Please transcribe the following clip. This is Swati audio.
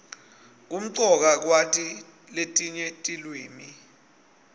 kumcoka kwati letinye tiliwimi